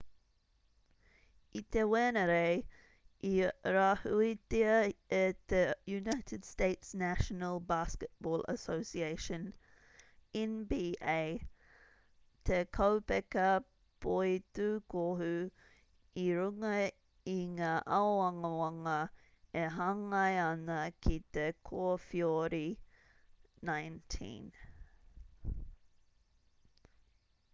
i te wenerei i rāhuitia e te united states' national basketball association nba te kaupeka poitūkohu i runga i ngā āwangawanga e hāngai ana ki te kowheori-19